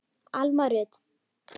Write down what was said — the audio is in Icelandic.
Alma Rut.